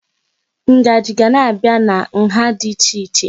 Ngaji ga na-abịa na nha dị iche iche.